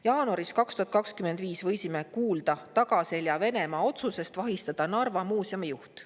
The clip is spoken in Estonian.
Jaanuaris 2025 võisime kuulda Venemaa tagaselja tehtud otsusest vahistada Narva muuseumi juht.